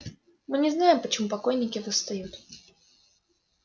мы не знаем почему покойники восстают